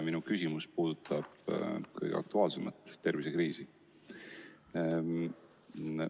Minu küsimus puudutab kõige aktuaalsemat teemat, tervisekriisi.